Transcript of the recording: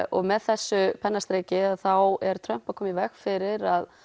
og með þessu pennastriki þá er Trump að koma í veg fyrir að